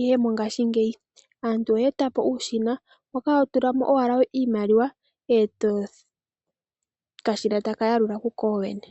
ihe mongaashingeyi aantu oya eta po uushina moka hotula mo owala iimaliwa okashina etaka yalula kuko kene.